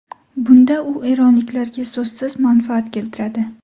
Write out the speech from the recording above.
Bunda u eronliklarga so‘zsiz manfaat keltiradi.